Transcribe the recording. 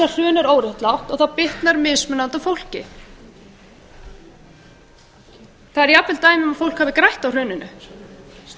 hrun er óréttlátt og það bitnar mismunandi á fólki það eru jafnvel dæmi um að fólk hafi grætt á hruninu